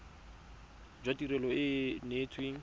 jwa tirelo e e neetsweng